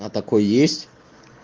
а такой есть